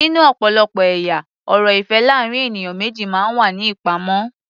Nínú ọ̀pọ̀lọpọ̀ ẹ̀yà ọ̀rọ̀ ìfẹ́ láàrín ènìyàn méjì máa ń wà ní ìpamọ́.